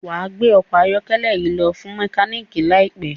wá gbé ọkọ ayọkẹlẹ yí lo fún mekaniki láìpé